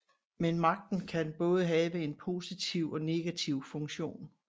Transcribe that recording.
Men magten kan både have en positiv og negativ funktion